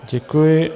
Děkuji.